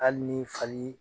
Hali ni fali